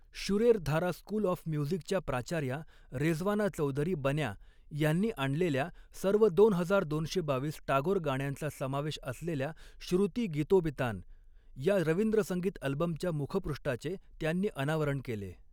शुरेर धारा school of म्युझिकच्या प्राचार्या रेझवाना चौधरी बन्या यांनी आणलेल्या सर्व दोन हजार दोनशे बावीस टागोर गाण्यांचा समावेश असलेल्या श्रुती गीतोबितान या रवींद्रसंगीत अल्बमच्या मुखपृष्ठाचे त्यांनी अनावरण केले.